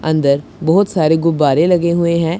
अंदर बहुत सारे गुब्बारे लगे हुए हैं।